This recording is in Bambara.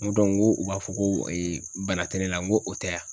N ko u b'a fɔ ko bana tɛ ne la n ko o tɛ a?